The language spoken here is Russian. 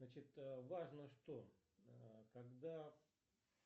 значит важно что когда